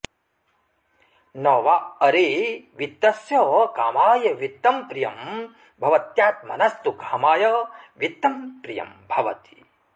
न वा अरे वित्तस्य कामाय वित्तं प्रियं भवत्यात्मनस्तु कामाय वित्तं प्रियं भवति